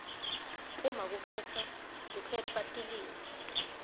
uma kukhetfwa tilwimi